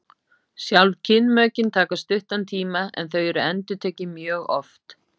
sjálf kynmökin taka stuttan tíma en þau eru endurtekin mjög oft